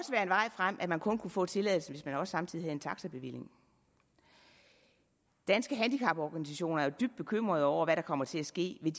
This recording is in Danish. frem at man kun kunne få tilladelse hvis man samtidig også havde en taxabevilling danske handicaporganisationer er dybt bekymrede over hvad der kommer til at ske vil